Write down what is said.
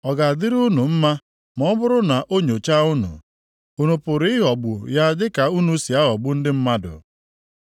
Ọ ga-adịrị unu mma ma ọ bụrụ na o nyochaa unu? Unu pụrụ ịghọgbu ya dịka unu si aghọgbu ndị mmadụ?